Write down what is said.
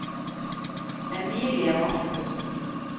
Emilie Markussen